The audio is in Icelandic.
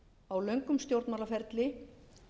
á löngum stjórnmálaferli